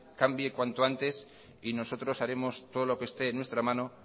cambie cuanto antes y nosotros haremos todo lo que esté en nuestra mano